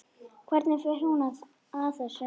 Hvernig fer hún að þessu?